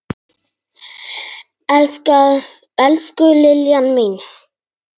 Elsku Liljan mín.